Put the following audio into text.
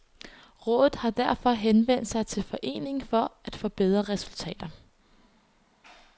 Rådet har derfor henvendt sig til foreningen for at få bedre resultater.